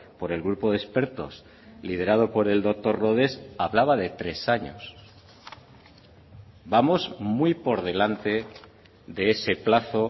por el grupo de expertos liderado por el doctor rodés hablaba de tres años vamos muy por delante de ese plazo